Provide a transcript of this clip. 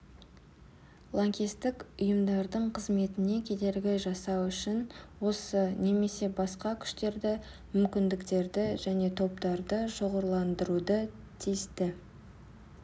лаңкестік ұйымдардың қызметіне кедергі жасау үшін осы немесе басқа күштерді мүмкіндіктерді және топтарды шоғырландыруды тиісті